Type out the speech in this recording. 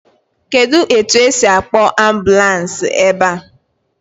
Kedụ etu esi akpọọ ambulans ebe?